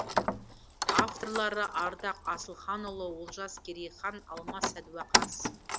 авторлары ардақ асылханұлы олжас керейхан алмас сәдуақас